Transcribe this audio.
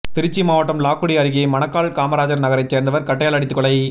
திருச்சி மாவட்டம் லால்குடி அருகே மணக்கால் காமராஜர் நகரைச் சேர்ந்தவர் கட்டையால் அடித்துக் கொலை